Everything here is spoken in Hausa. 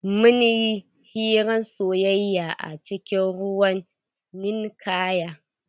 Mun yi hirar soyaya a cikin ruwan ninkaya.